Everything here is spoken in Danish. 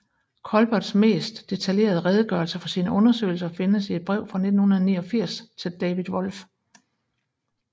Culberts mest detaljerede redegørelse for sine undersøgelser findes i et brev fra 1989 til David Wolf